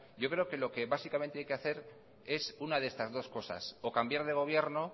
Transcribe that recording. yo creo que lo que básicamente hay que hacer es una de estas dos cosas o cambiar de gobierno